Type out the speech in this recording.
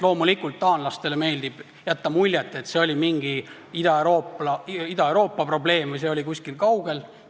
Loomulikult, taanlastele meeldib jätta muljet, et see oli mingi Ida-Euroopa probleem või see oli kuskil kaugel.